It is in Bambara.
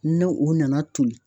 N'o o nana toli